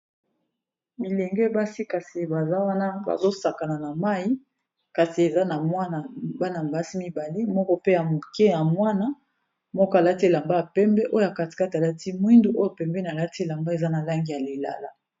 Bilenge basi kasi baza wana bazo sakana na mayi, kasi eza na mwana bana basi bl moko pe ya moke ya mwana, moko alati elamba ya pembe oyo kati kati alati mwindu oyo pembeni alati elamba eza na langi ya lilala.